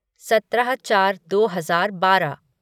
सत्रह चार दो हजार बारह